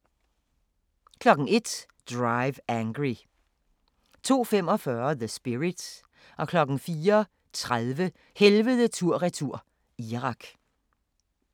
01:00: Drive Angry 02:45: The Spirit 04:30: Helvede tur/retur – Irak